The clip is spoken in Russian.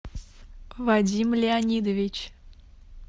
вадим леонидович